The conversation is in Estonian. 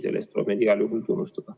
Selle eest tuleb neid igal juhul tunnustada.